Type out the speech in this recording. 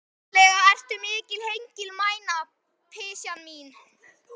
Voðalega ertu mikil hengilmæna, pysjan mín.